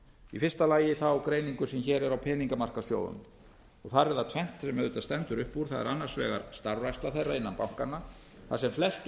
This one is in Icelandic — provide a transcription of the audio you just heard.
í fyrsta lagi greininguna sem hér er á peningamarkaðssjóðunum þar er það tvennt sem auðvitað stendur upp úr það er annars vegar starfræksla þeirra innan bankanna þar sem flestu